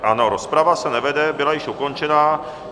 Ano, rozprava se nevede, byla již ukončena.